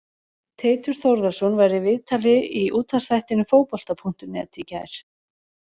Teitur Þórðarson var í viðtali í útvarpsþættinum Fótbolta.net í gær.